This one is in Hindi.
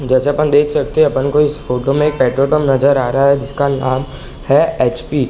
जैसे अपन देख सकते हैं अपन को इस फोटो में एक पेट्रोल पंप नजर आ रहा है जिसका नाम है एच.पी. ।